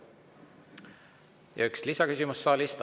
Ja üks lisaküsimus saalist.